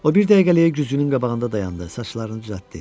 O bir dəqiqəliyə güzgünün qabağında dayandı, saçlarını düzəltdi.